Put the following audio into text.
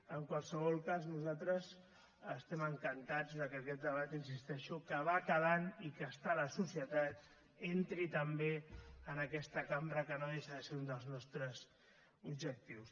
en qualsevol cas nosaltres estem encantats que aquest debat hi insisteixo que va calant i que està a la societat entri també en aquesta cambra que no deixa de ser un dels nostres objectius